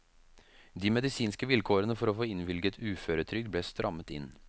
De medisinske vilkårene for å få innvilget uføretrygd ble strammet inn.